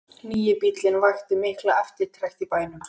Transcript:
Nýi bíllinn vakti mikla eftirtekt í bænum.